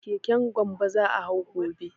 Keken Gambo za a hau gobe.